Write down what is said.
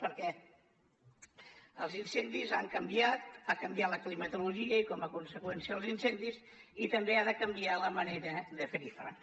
perquè els incendis han canviat ha canviat la climatologia i com a conseqüència els incendis i també ha de canviar la manera de fer hi front